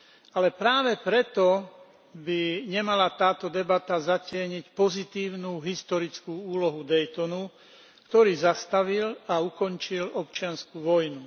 Ale práve preto by nemala táto debata zatieniť pozitívnu historickú úlohu Daytonu, ktorý zastavil a ukončil občiansku vojnu.